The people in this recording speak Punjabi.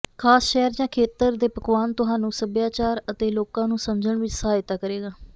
ਖਾਸ ਸ਼ਹਿਰ ਜਾਂ ਖੇਤਰ ਦੇ ਪਕਵਾਨ ਤੁਹਾਨੂੰ ਸੱਭਿਆਚਾਰ ਅਤੇ ਲੋਕਾਂ ਨੂੰ ਸਮਝਣ ਵਿੱਚ ਸਹਾਇਤਾ ਕਰੇਗਾ